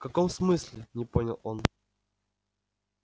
в каком смысле не понял он